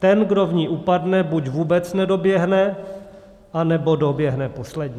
Ten, kdo v ní upadne, buď vůbec nedoběhne, anebo doběhne poslední.